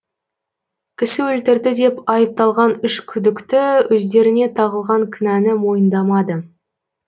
кісі өлтірді деп айыпталған үш күдікті өздеріне тағылған кінәні мойындамады